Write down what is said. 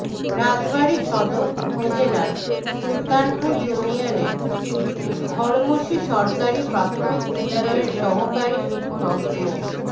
রাজবাড়ী সদর উপজেলার সুলতানপুর ইউনিয়নের ধর্মসী সরকারি প্রাথমিক বিদ্যালয়ের সহকারী শিক্ষক মো